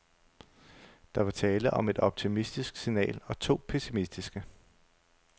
Der var tale om et optimistisk signal og to pessimistiske.